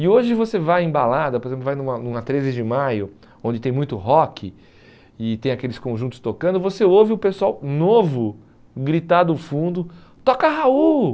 E hoje você vai em balada, por exemplo, vai numa numa treze de maio, onde tem muito rock e tem aqueles conjuntos tocando, você ouve o pessoal novo gritar do fundo, toca Raul!